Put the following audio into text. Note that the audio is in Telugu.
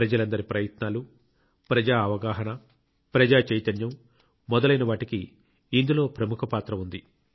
ప్రజలందరి ప్రయత్నాలు ప్రజా అవగాహన ప్రజా చైతన్యం మొదలైన వాటికి ఇందులో ప్రముఖ పాత్ర ఉంది